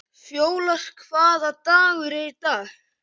Fjólar, hvaða dagur er í dag?